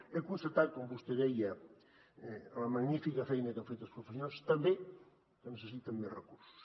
he constatat com vostè deia la magnífica feina que han fet els professionals també que necessiten més recursos